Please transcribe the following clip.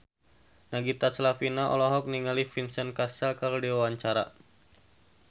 Nagita Slavina olohok ningali Vincent Cassel keur diwawancara